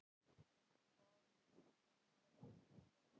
En hvað með kennaraverkfallið?